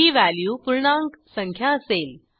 ही value पूर्णांक संख्या असेल